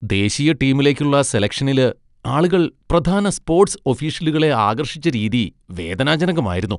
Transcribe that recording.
ദേശീയ ടീമിലേക്കുള്ള സെലക്ഷനില് ആളുകൾ പ്രധാന സ്പോട്സ് ഒഫീഷ്യലുകളെ ആകർഷിച്ച രീതി വേദനാജനകമായിരുന്നു.